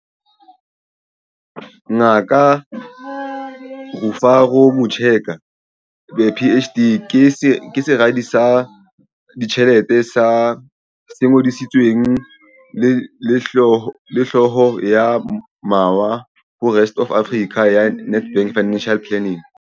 Ngaka Rufaro Mucheka, PhD, ke Seradi sa Ditjhelete se Ngodisitsweng le Hlooho ya Mawa ho Rest Of Africa ya Nedbank Financial Planning.